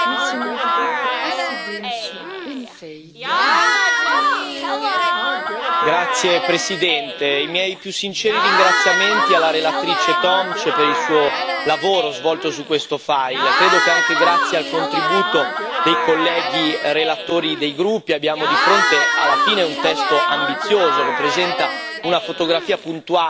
Signora Presidente, onorevoli colleghi, i miei più sinceri ringraziamenti alla relatrice Tomc per il suo lavoro svolto su questo fascicolo. Credo che anche grazie al contributo dei colleghi relatori dei gruppi abbiamo di fronte, alla fine, un testo ambizioso, che presenta una fotografia puntuale